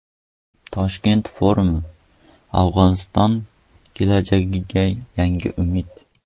Toshkent forumi: Afg‘oniston kelajagiga yangi umid.